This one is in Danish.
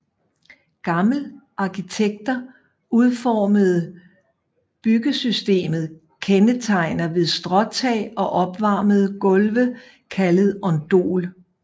Gamle arkitekter udformede byggesystemet kendetegnet ved stråtag og opvarmede gulve kaldet ondol